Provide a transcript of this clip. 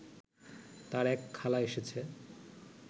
তার এক খালা এসেছে